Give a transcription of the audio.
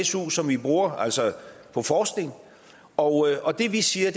su som vi bruger på forskning og og det vi siger